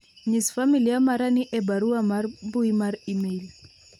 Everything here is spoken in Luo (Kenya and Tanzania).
nyis familia mara ni e barua mar mbui mar email